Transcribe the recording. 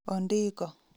Ondiko